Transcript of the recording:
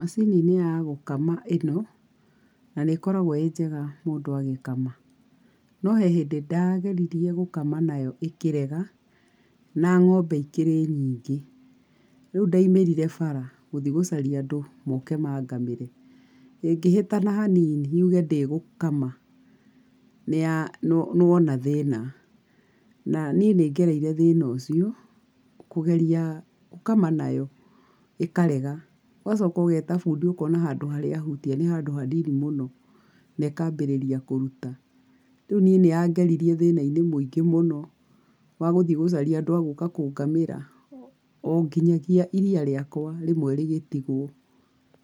Macini nĩ ya gũkama ĩno, na nĩĩkoragwo ĩ njega mũndũ agĩkama. No he hĩndĩ ndageririe gũkama na yo ikĩrega na ng'ombe ikĩrĩ nyingĩ. Rĩu ndaumĩrire bara gũthiĩ gũcaria andũ moke mangamĩre. Ĩngĩhĩtana hanini yũge ndĩgũkama nĩ ya nĩwona thĩna. Na niĩ nĩngereire thĩna ũcio ngageria gũkama na yo ĩkarega, ũgacoka ũgeta bundi ũkona handũ harĩa ahutia nĩ handũ hanini mũno, na ĩkambĩrĩria kũruta. Rĩu niĩ nĩyangeririe thĩna-inĩ mũingĩ mũno wa gũthiĩ gũcaria andũ agũka kũngamĩra o nginyagia iria rĩakwa rĩmwe rĩgĩtigwo.